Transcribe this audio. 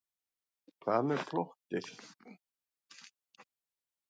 Hvað með plottið?